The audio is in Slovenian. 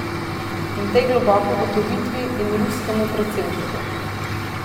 In tej globoki ugotovitvi in ruskemu predsedniku.